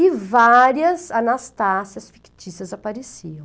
E várias Anastácias fictícias apareciam.